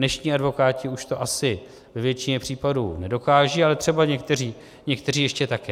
Dnešní advokáti už to asi ve většině případů nedokážou, ale třeba někteří ještě také.